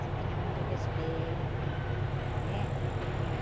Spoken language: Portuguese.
Se tinha muito respeito, né? Tinha...